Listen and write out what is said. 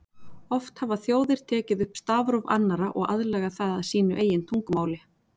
Oft hafa þjóðir tekið upp stafróf annarra og aðlagað það að sínu eigin tungumáli.